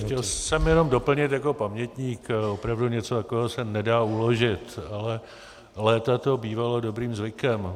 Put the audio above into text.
Chtěl jsem jenom doplnit jako pamětník, opravdu něco takového se nedá uložit, ale léta to bývalo dobrým zvykem.